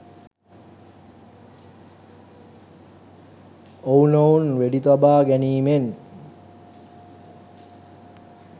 ඔවුනොවුන් වෙඩි තබා ගැනීමෙන්